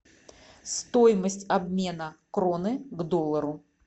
стоимость обмена кроны к доллару